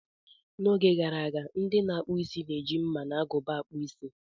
N'oge gara aga, ndị na-akpụ isi na-eji mma na agụba akpu Ịsị.